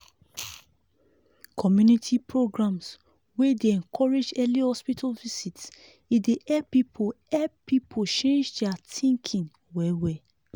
community programs wey dey encourage early hospital visit e dey help people help people change their thinking well well.